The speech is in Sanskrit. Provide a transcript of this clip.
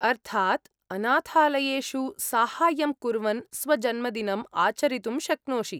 अर्थात् अनाथालयेषु साहाय्यं कुर्वन् स्वजन्मदिनम् आचरितुं शक्नोषि।